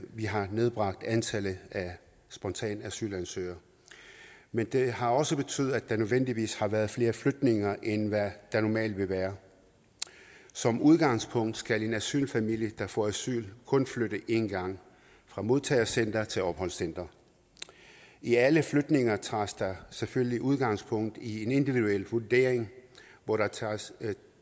vi har nedbragt antallet af spontane asylansøgere men det har også betydet at der nødvendigvis har været flere flytninger end hvad der normalt vil være som udgangspunkt skal en asylfamilie der får asyl kun flytte en gang fra modtagecenter til opholdscenter i alle flytninger tages der selvfølgelig udgangspunkt i en individuel vurdering hvor der tages